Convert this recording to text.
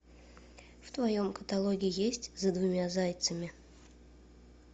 в твоем каталоге есть за двумя зайцами